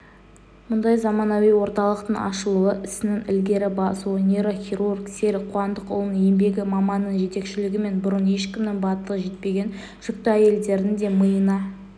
мұндай заманауи орталықтың ашылуы ісінің ілгері басуы нейрохирург серік қуандықұлының еңбегі маманның жетекшілігімен бұрын ешкімнің батылы жетпеген жүкті әйелдердің де миына